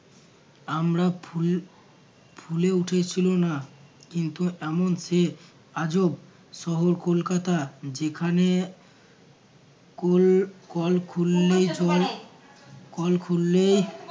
আমরা ফুল ফুলে উঠেছিল না, কিন্তু এমন সে আজব শহর কলকাতা যেখানে কোল~ কল খুললেই কল খুললেই